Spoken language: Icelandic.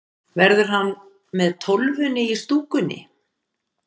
Verður hann með Tólfunni í stúkunni?